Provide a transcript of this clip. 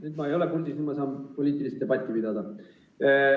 Nüüd ma ei ole puldis, nüüd ma saan poliitilist debatti pidada.